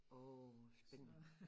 Åh spændende